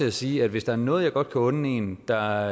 at sige at hvis der er noget jeg godt kan unde en der